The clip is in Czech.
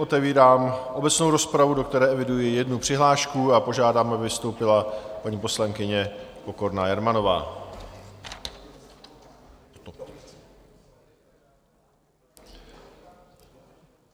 Otevírám obecnou rozpravu, do které eviduji jednu přihlášku, a požádám, aby vystoupila paní poslankyně Pokorná Jermanová.